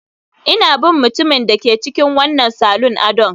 Ina bin mutumin da ke cikin wannan salon adon